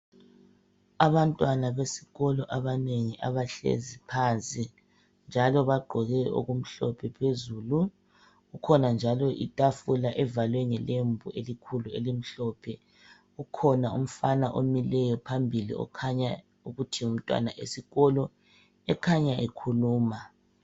Abantwana besikolo abanengi abahlezi phansi njalo bagqoke okumhlophe phezulu ikhona njalo itafula evalwe ngelembu elikhulu elimhlophe kukhona umfana emileyo phambili okukhanya ukuthi ngumtwana esikolo ekhanya ekhuluma.